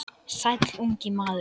Sæll, ungi maður